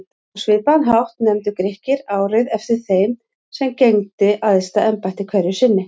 Á svipaðan hátt nefndu Grikkir árið eftir þeim sem gegndi æðsta embætti hverju sinni.